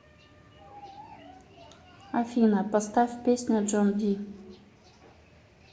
афина поставь песня джон ди